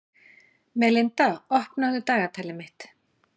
Melinda, opnaðu dagatalið mitt.